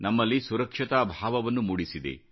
ನಮ್ಮಲ್ಲಿ ಸುರಕ್ಷತಾ ಭಾವವನ್ನು ಮೂಡಿಸಿದೆ